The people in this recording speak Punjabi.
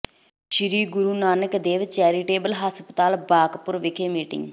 ਸ੍ਰੀ ਗੁਰੂ ਨਾਨਕ ਦੇਵ ਚੈਰੀਟੇਬਲ ਹਸਪਤਾਲ ਬਕਾਪੁਰ ਵਿਖੇ ਮੀਟਿੰਗ